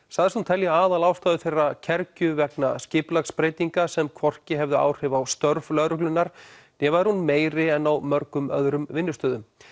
sagðist hún telja aðalástæðu þeirra kergju vegna skipulagsbreytinga sem hvorki hefði áhrif á störf lögreglunna né væri hún meiri en á mörgum öðrum vinnustöðum